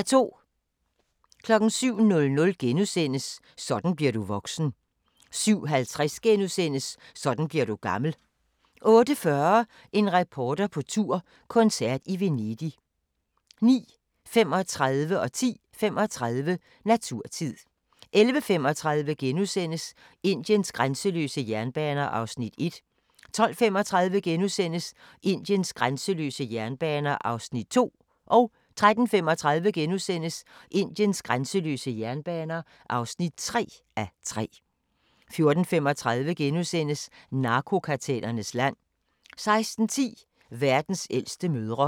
07:00: Sådan bliver du voksen * 07:50: Sådan bliver du gammel * 08:40: En reporter på tur – koncert i Venedig 09:35: Naturtid 10:35: Naturtid 11:35: Indiens grænseløse jernbaner (1:3)* 12:35: Indiens grænseløse jernbaner (2:3)* 13:35: Indiens grænseløse jernbaner (3:3)* 14:35: Narkokartellernes land * 16:10: Verdens ældste mødre